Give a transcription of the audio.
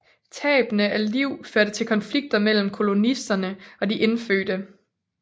Tabene af liv førte til konflikter mellem kolonisterne og de indfødte